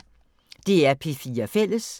DR P4 Fælles